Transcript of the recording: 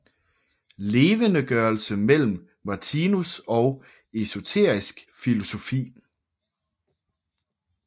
Levendegørelse mellem Martinus og esoterisk filosofi